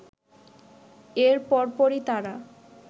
এর পরপরই তারা